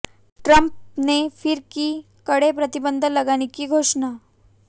Trump ने फिर की कड़े प्रतिबंध लगाने की घोषणा